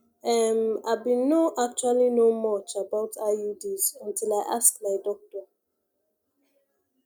ehm i been no actually know much about iuds until i ask my doctor